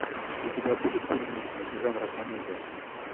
у тебя будет фильмище жанра комедия